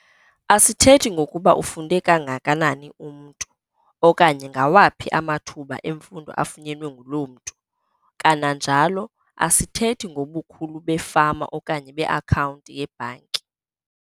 Asithethi ngokuba ufunde kangakanani umntu, okanye ngawaphi amathuba emfundo afunyenwe nguloo mntu. Kananjalo asithethi ngobukhulu befama okanye beakhawunti yebhanki.